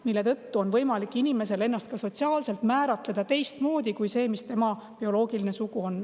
Selle tõttu on inimesel võimalik ennast sotsiaalselt määratleda teistmoodi kui see, mis tema bioloogiline sugu on.